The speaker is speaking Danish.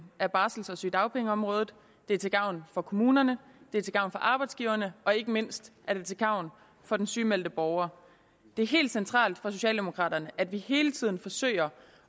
af barsel og sygedagpengeområdet det er til gavn for kommunerne det er til gavn for arbejdsgiverne og ikke mindst er det til gavn for den sygemeldte borger det er helt centralt for socialdemokraterne at vi hele tiden forsøger